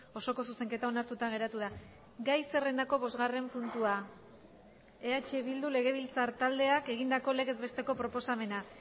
osoko zuzenketa onartuta geratu da gai zerrendako bosgarren puntua eh bildu legebiltzar taldeak egindako legez besteko proposamena